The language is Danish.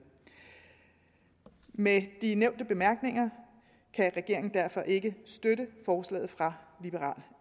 med de nævnte bemærkninger kan regeringen derfor ikke støtte forslaget fra liberal